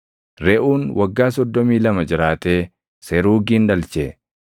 Reʼuun waggaa 32 jiraatee Seruugin dhalche.